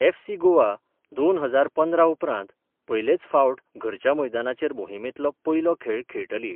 FC Goa दोन हजार पंदरा उपरांत पयलेच फावट घरच्या मैदानाचेर मोहिमेंतलो पयलो खेळ खेळटली.